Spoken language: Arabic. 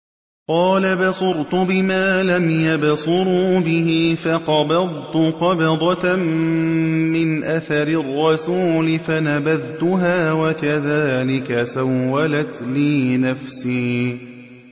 قَالَ بَصُرْتُ بِمَا لَمْ يَبْصُرُوا بِهِ فَقَبَضْتُ قَبْضَةً مِّنْ أَثَرِ الرَّسُولِ فَنَبَذْتُهَا وَكَذَٰلِكَ سَوَّلَتْ لِي نَفْسِي